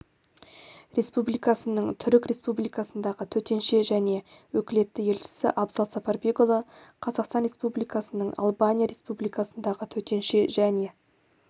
республикасының түрік республикасындағы төтенше және өкілетті елшісі абзал сапарбекұлы қазақстан республикасының албания республикасындағы төтенше және